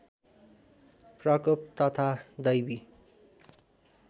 प्रकोप तथा दैवी